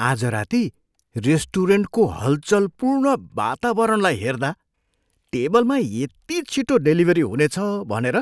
आज राती रेस्टुरेन्टको हलचलपूर्ण वातावरणलाई हेर्दा टेबलमा यति छिटो डेलिभरी हुनेछ भनेर